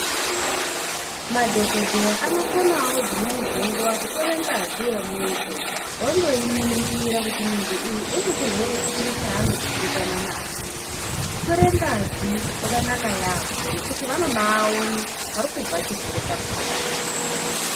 Madhogodheya anokonavo dzimweni dzenguva kutore ngazi yemuntu vondoiningira kuti muntu uyu unechirwere chiri chanodzimbikana nacho. Kutore ngazi kwakanaka yaambo nekuti vanobaone parikubva chirwere chakona.